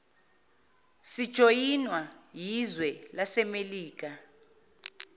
sijoyinwa yizwe lasemelika